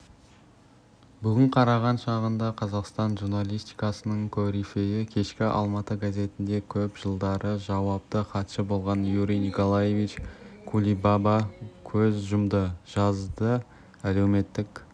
бүгін қараған шағында қазақстан журналистикасының корифейі кешкі алматы газетінде көп жылдары жауапты хатшы болған юрий николаевич кулибаба көз жұмды жазды әлеуметтік